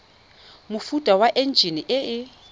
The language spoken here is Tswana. mofuta wa enjine e e